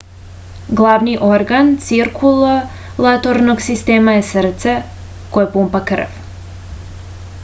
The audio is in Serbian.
glavni organ cirkulatornog sistema je srce koje pumpa krv